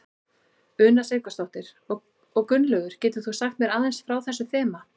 Una Sighvatsdóttir: Og Gunnlaugur getur þú sagt mér aðeins frá þessu þema?